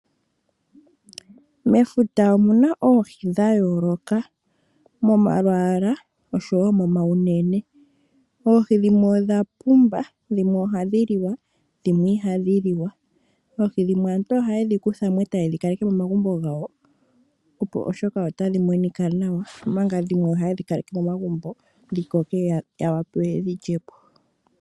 Mefuta omuna oohi dhayooloka momalwala oshowo momaunene ohii dhimwe odha pumba dhimwe ohadhi liwa dhimwe ihadhi liwa oohi dhimwe aantu ohayedhi kutha mo etayedhi kaleke momagumbo gawo opo oshoka otadhi monika nawa omanga dhimwe ohaye dhi kaleke momagumbo gawo yo yawape yedhi lyepo.